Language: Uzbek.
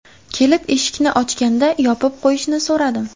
Kelib, eshikni ochganda yopib qo‘yishini so‘radim.